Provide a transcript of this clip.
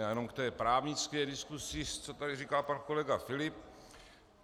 Já jenom k té právnické diskusi, co tady říkal pan kolega Filip.